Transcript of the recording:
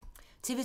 TV 2